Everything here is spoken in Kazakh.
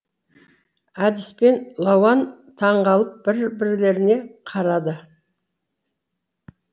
әдеспен лауан таңғалып бірбірлеріне қарады